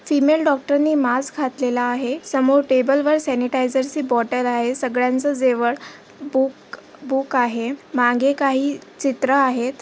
Female doctor ने mask घातलेला आहे समोर टेबल वर सेंनीटईजर ची बोटल आहे सगळ्याच्या जवळ बूक बूक आहे मागे काही चित्र आहेत.